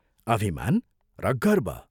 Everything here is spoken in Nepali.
अभिमान र गर्व.....